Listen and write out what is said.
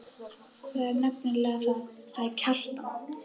Það er nefnilega það, sagði Kjartan.